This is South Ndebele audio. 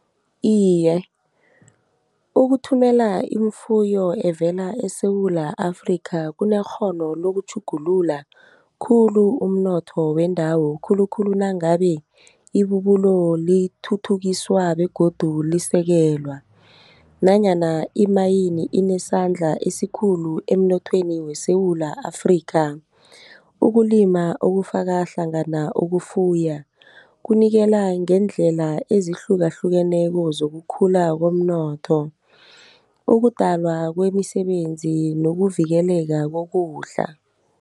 Iye, ukuthumela imfuyo evela eSewula Afrika kunekghono lokutjhugulula khulu umnotho wendawo, khulukhulu nangabe ibubulo lithuthukiswa begodu lisekelwa. Nanyana imayini inesandla esikhulu emnothweni weSewula Afrika. Ukulima okufaka hlangana ukufuya, kunikela ngeendlela ezihlukahlukeneko zokukhula komnotho. Ukudalwa kwemisebenzi nokuvikeleka kokudla.